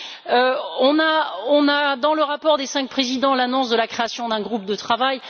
Nous avons, dans le rapport des cinq présidents, l'annonce de la création d'un groupe de travail.